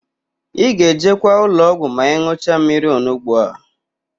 Ị ga-ejekwa ụlọọgwụ ma ị n̄ụcha mmiri ọnugbo a?